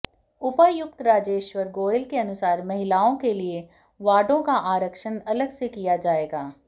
उपायुक्त राजेश्वर गोयल के अनुसार महिलाओं के लिए वार्डों का आरक्षण अलग से किया जाएगा